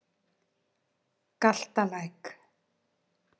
Galtalæk